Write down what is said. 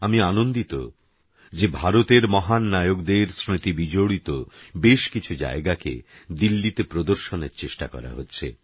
আমি আনন্দিত যে ভারতের মহাননায়কদের স্মৃতি বিজড়িত বেশকিছু জায়গাকে দিল্লিতে প্রদর্শনের চেষ্টা করা হচ্ছে